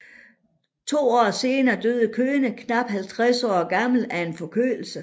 To år senere døde Köhne knap 50 år gammel af en forkølelse